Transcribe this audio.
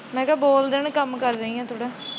ਮੈ ਕਿਹਾ ਦੋ ਦਿਨ ਕੰਮ ਕਰ ਰਹੀ ਹਾਂ ਤੁਹਾਡਾ।